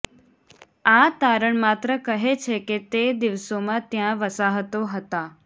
આ તારણ માત્ર કહે છે કે તે દિવસોમાં ત્યાં વસાહતો હતા